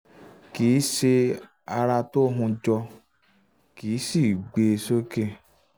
kìí ṣe um ara um tó um hun jọ kìí sìí gbé e sókè